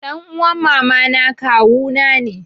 Ɗan uman mamana kawuna ne.